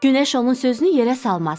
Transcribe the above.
Günəş onun sözünü yerə salmaz.